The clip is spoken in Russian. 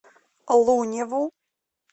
луневу